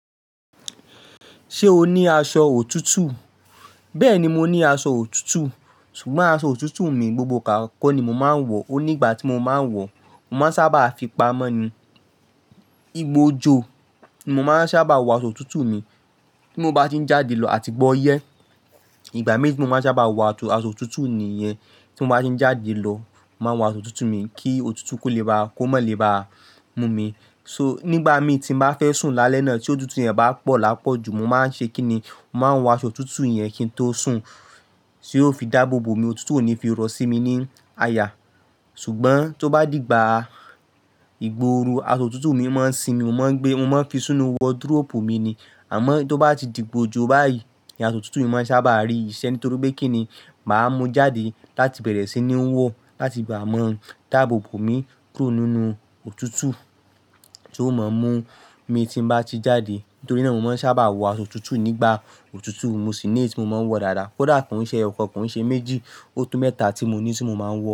Ṣé o ní aṣọ òtútù? Bẹ́ẹ̀ni, mo ní aṣọ òtútù. Ṣùgbọ́n aṣọ òtútù mi gbogbo gbà kọ́ ni mo máa ń wọ̀ ó. Onígbà tí mo máa ń wọ̀ ó, mo máa ń sábà fi pa mọ́ ni, igba o jọ, mo máa ń sábà wọ aṣọ òtútù mi. Tí mo bá ti ń jáde lọ àti gbọ́ yẹ́, ìgbà mí tí mo máa ń sábà wọ àṣọ òtútù nìyẹn. Tí mo bá ti ń jáde lọ, màá wọ aṣọ òtútù mi kí òtútù kó lè ba, kó mọ́ lè ba mú mi. So, nígbà mí tí mo bá fẹ́ sùn lálẹ́ náà tí òtútù yẹn bá pọ̀ lápọ̀ jù, mo máa ń ṣe kí ni? Mo máa ń wọ aṣọ òtútù yẹn kí n tó sùn, sì ó fi dáàbò bo mi, òtútù ò ní fi rọ̀ sí mi ni aya. Ṣùgbọ́n tó bá dìgbà ìgba oru, aṣọ òtútù mi máa ń sìmi, mo máa ń gbé, mo máa ń fi sínú wọdiróòpù mi ni. Àmọ́ tó bá ti dìgba ojọ báyìí ni aṣọ òtútù mìí máa ń sábà rí ìṣe, nítorí pé kí ni? Màá mú jáde láti bẹ̀rẹ̀ sí ní wọ, láti máa mo dáàbò bo mi kúrò nínú òtútù tí ó máa ń mú mi tí mo bá ti jáde. Nítorí náà mo máa ń sábà wọ aṣọ òtútù nígbà òtútù, mo sì ní ẹyí tí mo máa ń wọ̀ dáadáa. Kódà kàn ṣiṣẹ́ ọkọ̀ kàn ṣẹ méjì, ọdún mẹ́ta tí mo ní tí mo máa ń wọ̀